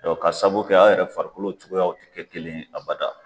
dɔn K'a saabu kɛ a yɛrɛ farikolo cogoyaw ti kɛ kelen abada